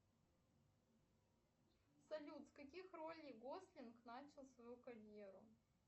салют с каких ролей гослинг начал свою карьеру